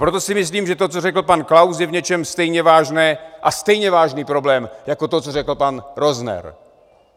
Proto si myslím, že to, co řekl pan Klaus, je v něčem stejně vážné a stejně vážný problém jako to, co řekl pan Rozner.